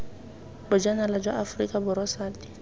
bojanala jwa aforika borwa sati